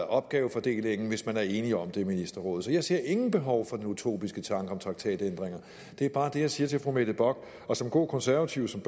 opgavefordelingen hvis man er enige om det i ministerrådet så jeg ser intet behov for den utopiske tanke om traktatændringer det er bare det jeg siger til fru mette bock og som god konservativ og som